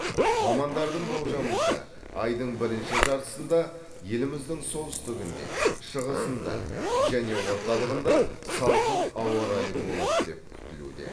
мамандардың болжамынша айдың бірінші жартысында еліміздің солтүстігінде шығысында және орталығында салқын ауа райы болады деп күтілуде